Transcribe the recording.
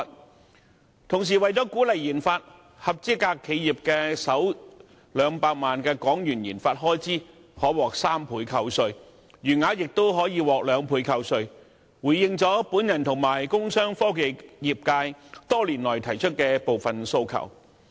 與此同時，為了鼓勵研發，合資格企業的首200萬元研發開支可獲3倍扣稅，餘額亦可獲雙倍扣稅，回應了我和工商科技業界多年來提出的部分訴求。